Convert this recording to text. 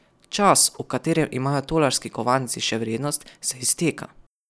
Čas, v katerem imajo tolarski kovanci še vrednost, se izteka.